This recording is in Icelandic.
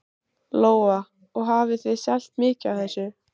Lóa: Og hafið þið selt mikið af þessu?